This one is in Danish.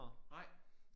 Nej